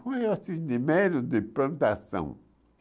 Foi assim, de medo de plantação.